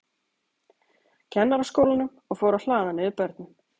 Kennaraskólanum, og fór að hlaða niður börnum.